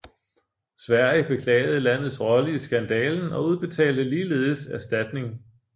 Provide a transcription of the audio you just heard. Sverige beklagede landets rolle i skandalen og udbetalte ligeledes erstatning